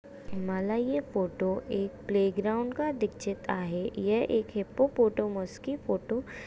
मला ये फोटो एक प्ले ग्राउड का दिक्सत हे यह एक हिप्पोपॉटेमस की फोटो --